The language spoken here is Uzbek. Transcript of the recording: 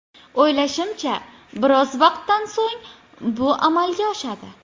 O‘ylashimcha, biroz vaqtdan so‘ng bu amalga oshadi.